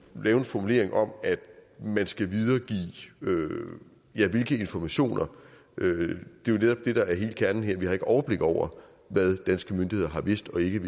lave en formulering om at man skal videregive ja hvilke informationer det er netop det der er kernen her for vi har ikke overblik over hvad danske myndigheder har vidst og ikke